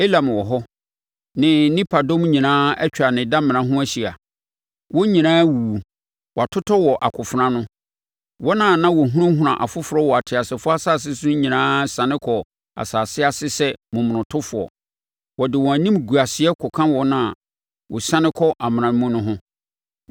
“Elam wɔ hɔ, ne nipadɔm nyinaa atwa ne damena ho ahyia. Wɔn nyinaa awuwu, wɔatotɔ wɔ akofena ano. Wɔn a na wɔhunahuna afoforɔ wɔ ateasefoɔ asase so nyinaa siane kɔɔ asase ase sɛ momonotofoɔ. Wɔde wɔn animguaseɛ kɔka wɔn a wɔsiane kɔ amena mu no ho.